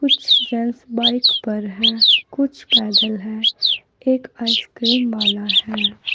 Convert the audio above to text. कुछ gents bike पर है कुछ पैदल है एक आइसक्रीम वाला है।